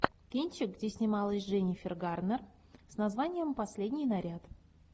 кинчик где снималась дженнифер гарнер с названием последний наряд